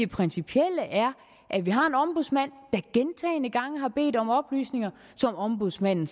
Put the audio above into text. principielle er at vi har en ombudsmand der gentagne gange har bedt om oplysninger som ombudsmanden